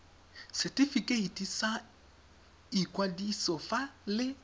setifikeiti sa ikwadiso fa le